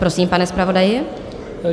Prosím, pane zpravodaji.